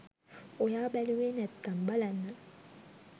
ඔයා බැලුවේ නැත්නම් බලන්න